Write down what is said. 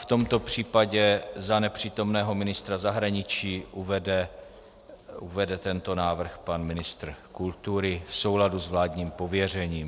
V tomto případě za nepřítomného ministra zahraničí uvede tento návrh pan ministr kultury v souladu s vládním pověřením.